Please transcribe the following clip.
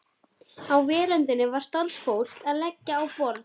Á veröndinni var starfsfólk að leggja á borð.